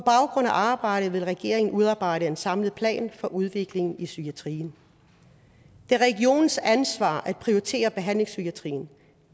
arbejdet vil regeringen udarbejde en samlet plan for udviklingen i psykiatrien det er regionernes ansvar at prioritere behandlingspsykiatrien